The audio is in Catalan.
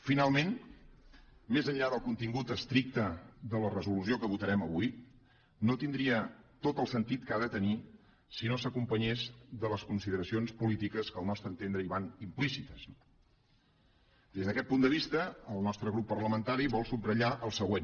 finalment més enllà del contingut estricte de la resolució que votarem avui no tindria tot el sentit que ha de tenir si no s’acompanyés de les consideracions polítiques que al nostre entendre hi van implícites no des d’aquest punt de vista el nostre grup parlamentari vol subratllar el següent